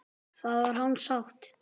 Það var hans sátt!